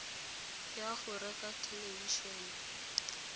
ya go reka thelebi ene